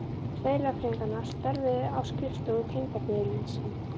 Tveir lögfræðinganna störfuðu á skrifstofu tengdaföður míns í